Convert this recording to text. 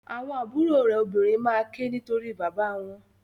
Àwọn àbúrò rẹ obìnrin maa ke nitori bàbá wọn.